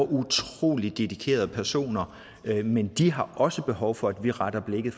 utrolig dedikerede personer men de har også behov for at vi retter blikket